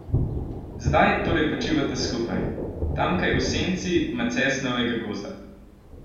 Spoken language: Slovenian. Zdaj torej počivata skupaj, tamkaj v senci macesnovega gozda.